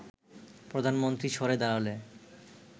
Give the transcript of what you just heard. প্রধানমন্ত্রী সরে দাঁড়ালে